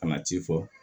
Ka na ci fɔ